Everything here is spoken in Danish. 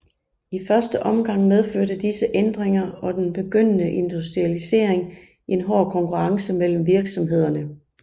I første omgang medførte disse ændringer og den begyndende industrialisering en hård konkurrence mellem virksomhederne